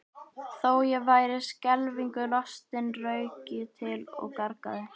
Þó ég væri skelfingu lostinn rauk ég til og gargaði